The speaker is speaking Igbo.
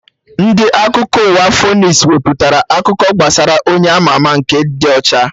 Ndị Akụkọ ụwa Fonis wepụtara akụkọ gbasara Onye ama ama nke dị ọcha